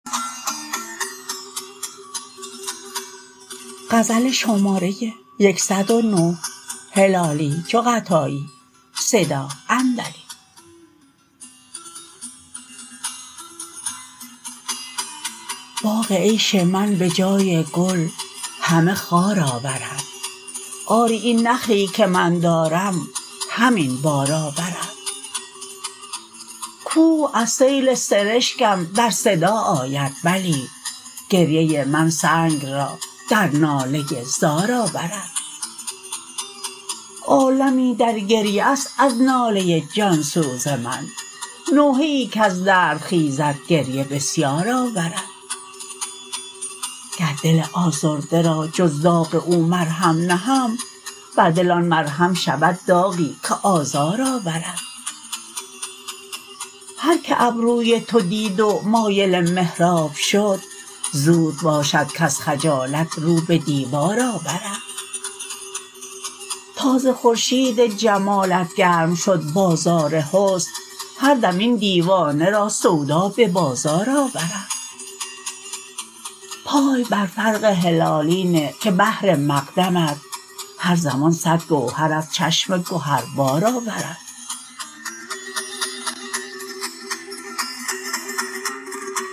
باغ عیش من بجای گل همه خار آورد آری این نخلی که من دارم همین بار آورد کوه از سیل سرشکم در صدا آید بلی گریه من سنگ را در ناله زار آورد عالمی در گریه است از ناله جانسوز من نوحه ای کز درد خیزد گریه بسیار آورد گر دل آزرده را جز داغ او مرهم نهم بر دل آن مرهم شود داغی که آزار آورد هر که ابروی تو دید و مایل محراب شد زود باشد کز خجالت رو بدیوار آورد تا ز خورشید جمالت گرم شد بازار حسن هر دم این دیوانه را سودا ببازار آورد پای بر فرق هلالی نه که بهر مقدمت هر زمان صد گوهر از چشم گهر بار آورد